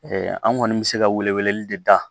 an kɔni bɛ se ka welewele de da